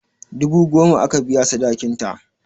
Dubu goma aka biya sadakin ta